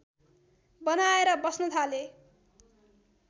बनाएर बस्न थाले